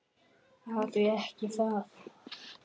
Já, því ekki það?